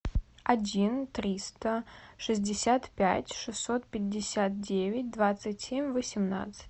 один триста шестьдесят пять шестьсот пятьдесят девять двадцать семь восемнадцать